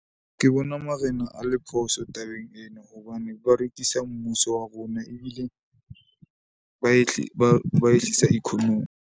Ke bona marena a le phoso tabeng ena hobane ba rekisa mmuso wa rona ebile, ba ba ehlisa economy.